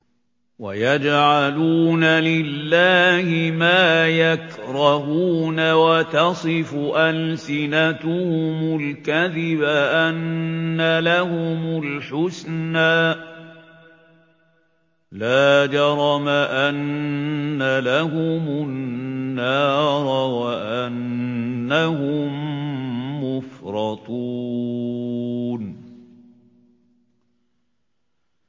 وَيَجْعَلُونَ لِلَّهِ مَا يَكْرَهُونَ وَتَصِفُ أَلْسِنَتُهُمُ الْكَذِبَ أَنَّ لَهُمُ الْحُسْنَىٰ ۖ لَا جَرَمَ أَنَّ لَهُمُ النَّارَ وَأَنَّهُم مُّفْرَطُونَ